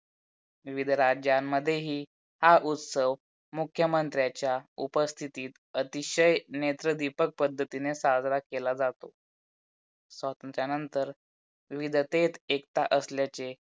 विविध राज्यांमध्ये हि हा उत्सव मुख्यमंत्र्यांच्या उपस्थित अतिशय नेत्र दीपक पद्धतीने साजरा केला जातो. स्वातंत्र्यानंतर विविधतेत एकता असलेले